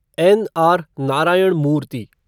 N. R. Narayana Murthy